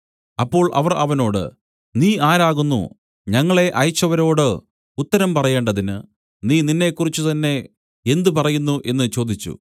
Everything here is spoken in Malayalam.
അപ്പോൾ അവർ അവനോട് നീ ആരാകുന്നു ഞങ്ങളെ അയച്ചവരോട് ഉത്തരം പറയേണ്ടതിന് നീ നിന്നെക്കുറിച്ച് തന്നേ എന്ത് പറയുന്നു എന്നു ചോദിച്ചു